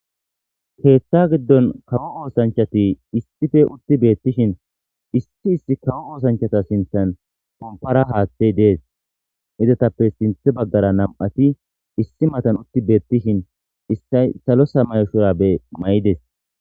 Keeththa giddon kawo oosanchati issife utti beettishin issi issi kawo oosanchata sinthan pompara haaththey dees idetappe sinthe baggara nam7ati issi matan utti beettishin issay salo samayshurabe may'ides.